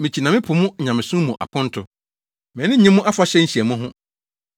“Mikyi na mepo mo nyamesom mu aponto; mʼani nnye mo afahyɛ nhyiamu ho.